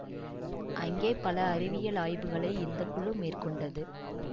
அங்கே பல அறிவியல் ஆய்வுகளை இந்த குழு மேற்கொண்டது